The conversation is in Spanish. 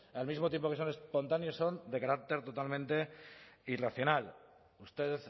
al mismo tiempo que son espontáneos son de carácter totalmente irracional usted